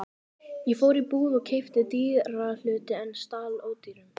Ég fór í búð og keypti dýra hluti en stal ódýrum.